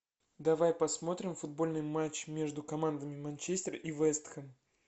давай посмотрим футбольный матч между командами манчестер и вест хэм